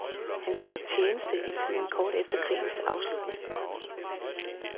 Han gjorde tjeneste i tiden kort efter krigens afslutning.